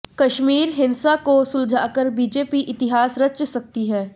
कश्मीर हिंसा को सुलझाकर बीजेपी इतिहास रच सकती है